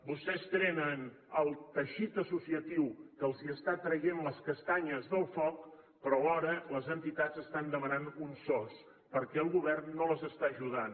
vostès tenen el teixit associatiu que els està traient les castanyes del foc però alhora les entitats estan demanant un sos perquè el govern no les està ajudant